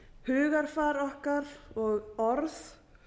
hugarfar okkar og orð